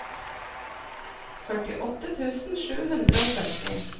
førtiåtte tusen sju hundre og sytti